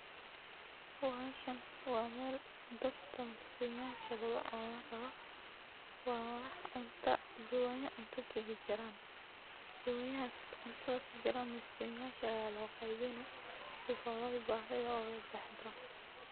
Meeshan waa meel dadka miskimaha lagu caawin rabo, waa wax cunta jawaanya cunta kujiraan, jawanyahaas cuntada kujiraan miskimaha ayaa loo qeybini si aay bahidooda ubaxdo.